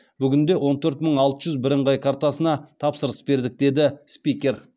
бүгінде он төрт мың алты жүз бірыңғай картасына тапсырыс бердік деді спикер